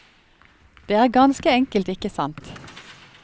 Det er ganske enkelt ikke sant.